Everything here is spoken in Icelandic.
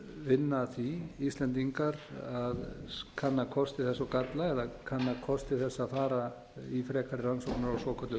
vinna að því íslendingar að kanna kosti þess og galla eða kanna kosti þess að fara í frekari rannsóknir á svokölluðu